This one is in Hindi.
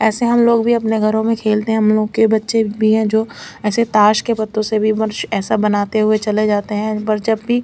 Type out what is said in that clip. असे हम लोग भी आपने घरो में खेलते है मोके बच्चे भी है जो ऐसे ताश के पत्तो से भी ऐसा बनाते हुए चले जाते है पर जब भी--